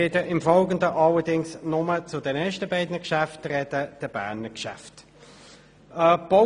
Ich werde im Folgenden allerdings nur zu den ersten beiden Geschäften sprechen, den Berner Geschäften.